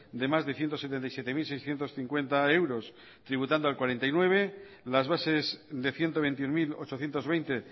de más de ciento setenta y siete mil seiscientos cincuenta euros tributando al cuarenta y nueve por ciento las bases de ciento veintiuno mil ochocientos veinte